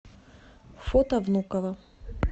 фото внуково